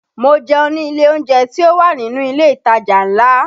Mo jẹun ní ilé oúnjẹ tí ó wà nínú ilé ìtajà ńlá